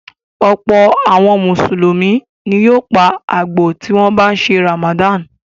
Ọ̀pọ̀ àwọn Mùsùlùmí ni yóò pa àgbò tí wọ́n bá ń ṣe Ramadan.